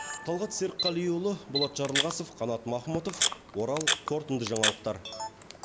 талғат серікқалиұлы болат жарылғасов қанат махмұтов орал қорытынды жаңалықтар